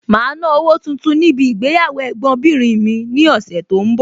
Màá ná owó tuntun níbi ìgbéyàwó Ẹ̀gbọ́n bìnrin mi ní ọ̀sẹ̀ tó ń bọ̀.